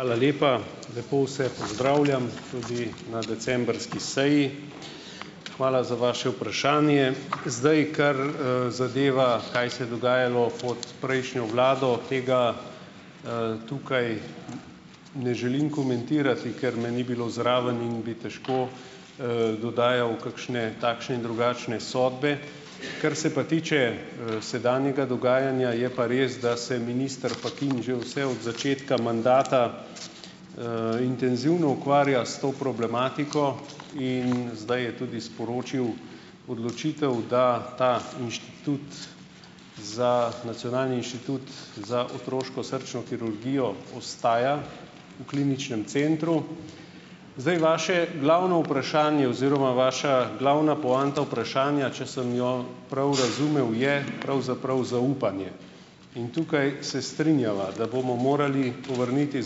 Hvala lepa! Lepo vse pozdravljam, tudi na decembrski seji. Hvala za vaše vprašanje. Zdaj, kar, zadeva, kaj se je dogajalo pot prejšnjo vlado, tega, tukaj ne želim komentirati, ker me ni bilo zraven in bi težko, dodajal kakšne, takšne in drugačne, sodbe. Kar se pa tiče, sedanjega dogajanja, je pa res, da se minister Fakin že vse od začetka mandata, intenzivno ukvarja s to problematiko in zdaj je tudi sporočil odločitev, da ta inštitut za, Nacionalni inštitut za otroško srčno kirurgijo ostaja v Kliničnem centru. Zdaj, vaše glavno vprašanje oziroma vaša glavna poanta vprašanja, če sem jo prav razumel, je pravzaprav zaupanje in tukaj se strinjava, da bomo morali povrniti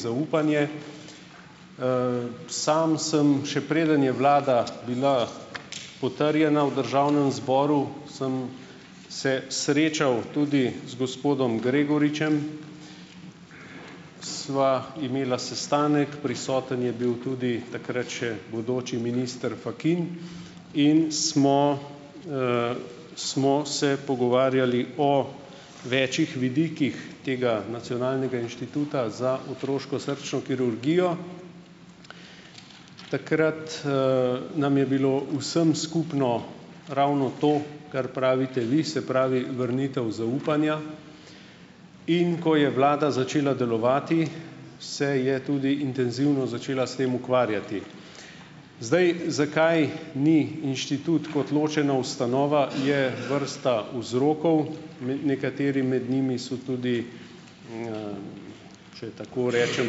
zaupanje. Sam sem, še preden je vlada bila potrjena v državnem zboru, sem se srečal tudi z gospodom Gregoričem, sva imela sestanek, prisoten je bil tudi, takrat še bodoči minister Fakin in smo, smo se pogovarjali o večih vidikih tega Nacionalnega inštituta za otroško srčno kirurgijo. Takrat, nam je bilo vsem skupno ravno to, kar pravite vi, se pravi vrnitev zaupanja, in ko je vlada začela delovati, se je tudi intenzivno začela s tem ukvarjati. Zdaj, zakaj ni inštitut kot ločena ustanova, je vrsta vzrokov. Ne, nekateri med njimi so tudi, če tako rečem,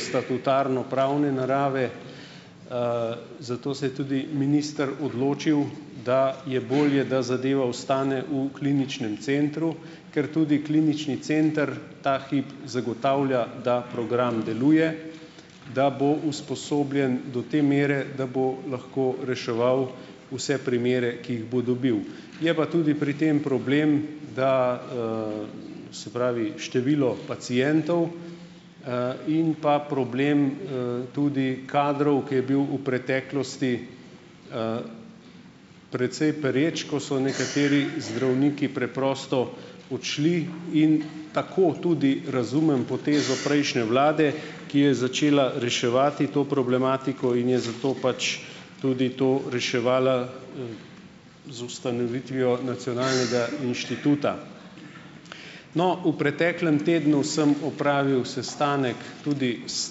statutarno- pravne narave, zato se je tudi minister odločil, da je bolje, da zadeva ostane v Kliničnem centru, ker tudi Klinični center ta hip zagotavlja, da program deluje, da bo usposobljen do te mere, da bo lahko reševal vse primere, ki jih bo dobil. Je pa tudi pri tem problem, da, se pravi, število pacientov, in pa problem, tudi kadrov, ko je bil v preteklosti, precej pereč, ko so nekateri zdravniki preprosto odšli in tako tudi razumem potezo prejšnje vlade, ki je začela reševati to problematiko in je zato pač tudi to reševala, z ustanovitvijo Nacionalnega inštituta. No, v preteklem tednu sem opravil sestanek tudi s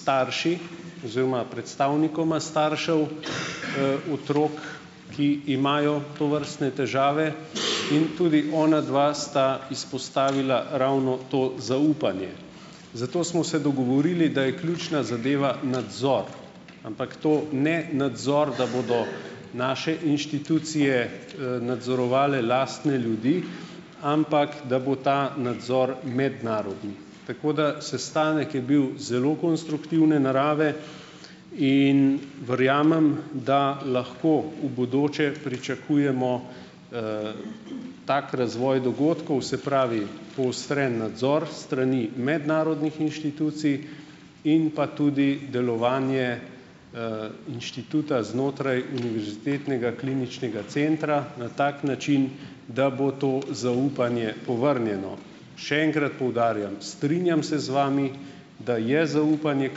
starši oziroma predstavnikoma staršev, otrok, ki imajo tovrstne težave, in tudi onadva sta izpostavila ravno to zaupanje. Zato smo se dogovorili, da je ključna zadeva nadzor, ampak to ne nadzor, da bodo naše inštitucije, nadzorovale lastne ljudi, ampak da bo ta nadzor mednarodni. Tako da sestanek je bil zelo konstruktivne narave in verjamem, da lahko v bodoče pričakujemo, tak razvoj dogodkov, se pravi poostren nadzor s strani mednarodnih inštitucij in pa tudi delovanje, inštituta znotraj Univerzitetnega kliničnega centra na tak način, da bo to zaupanje povrnjeno. Še enkrat poudarjam, strinjam se z vami, da je zaupanje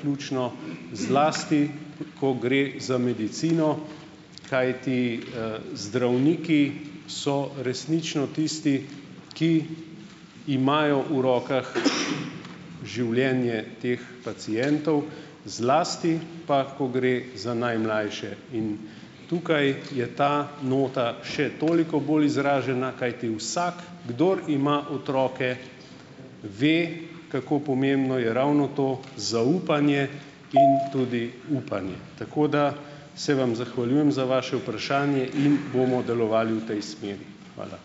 ključno, zlasti ko gre za medicino, kajti, zdravniki so resnično tisti, ki imajo v rokah življenje teh pacientov, zlati pa, ko gre za najmlajše in tukaj je ta nota še toliko bolj izražena, kajti vsak, kdor ima otroke, ve, kako pomembno je ravno to zaupanje in tudi upanje. Tako da se vam zahvaljujem za vaše vprašanje in bomo delovali v tej smeri. Hvala.